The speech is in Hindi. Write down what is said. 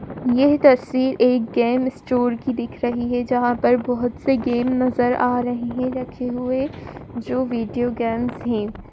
यह तस्वीर एक गेम स्टोर की दिख रही है जहाँ पर बहुत से गेम नज़र आ रहे है रखे हुए। जो वीडियो गेम्स है।